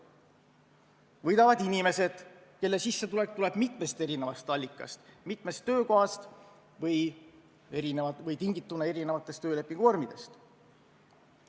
Võidavad inimesed, kelle sissetulek tuleb mitmest allikast, mitmest töökohast või on tingitud töölepingu eri vormidest.